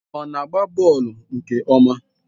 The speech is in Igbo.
Ọ na-agba bọọlụ nke ọma?